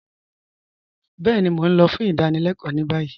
Bẹẹni, Mó n lọ̀ fún ìdánílẹ̀kọ ni bayí